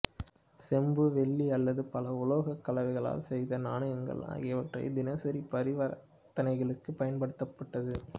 செம்பு வெள்ளி அல்லது பல உலோக கலவைகளால் செய்த நாணயங்கள் ஆகியவற்றை தினசரி பரிவர்த்தனைகளுக்கு பயன்படுத்தப்பட்டது